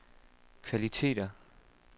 kvaliteter